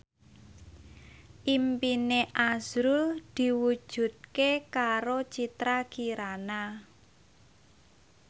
impine azrul diwujudke karo Citra Kirana